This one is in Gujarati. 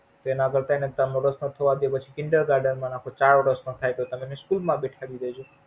તો એના કરતા એને ત્રણ વર્ષ Kinder garden માં રાખો અને ચાર વર્ષ નો થઇ એટલે એને School માં બેઠાડી દેજો.